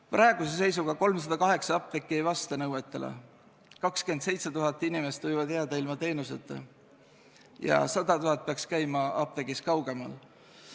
Praeguse seisuga ei vasta nõuetele 308 apteeki, 27 000 inimest võib jääda teenuseta ja 100 000 inimest peaks käima apteegis, mis jääb kaugemale.